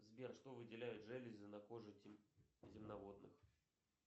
сбер что выделяют железы на коже земноводных